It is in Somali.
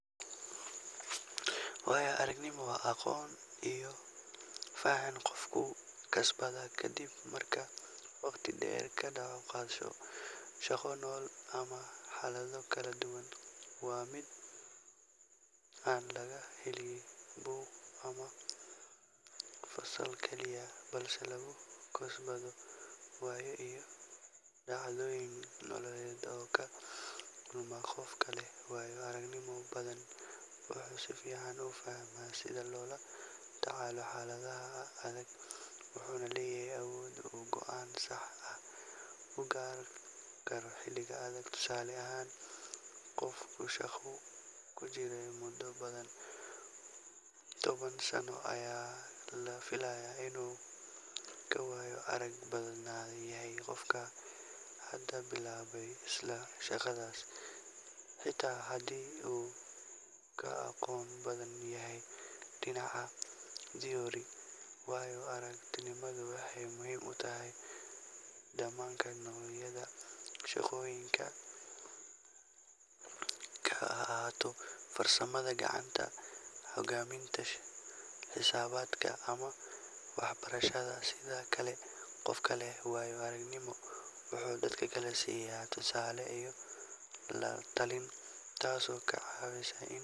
Haa, waayo-aragnimadaydii la xiriirtay isbeddel dhaqaale waxay ahayd mid aad u xanuun badan oo wax weyn ka beddelay qaab nololeedkaygii caadiga ahaa. Sanadkii hore, shirkaddii aan ka shaqayn jiray ayaa hoos u dhac dhaqaale la kulantay taasoo keentay in la yareeyo shaqaale badan, aniguna waxaan ka mid noqday dadka shaqada waayay. Waxaa igu dhacay niyad-jab iyo cabsi xooggan sababtoo ah ma haysan wax kayd ah oo dhaqaale ah, isla markaana waxaa igu xirnaa mas'uuliyado qoys oo aanan ka maarmi karin. Si aan xaaladda ula qabsado, waxaan go'aansaday inaan dib u qiimeeyo xirfadahaygii, waxaanan bilaabay barashada xirfado cusub oo la xiriira ganacsiga onlaynka ah.